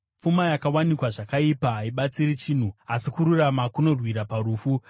Pfuma yakawanikwa zvakaipa haibatsiri chinhu, asi kururama kunorwira parufu.